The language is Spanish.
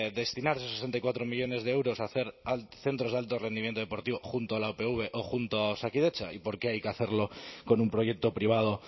destinar esos sesenta y cuatro millónes de euros a hacer centro de alto rendimiento deportivo junto a la upv o junto a osakidetza y por qué hay que hacerlo con un proyecto privado